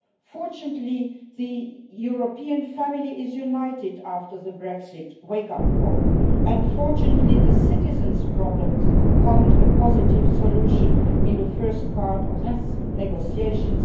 Fortunately, the European family is united after the Brexit wake up call and, fortunately, the citizens' problems found a positive solution in the first part of these negotiations.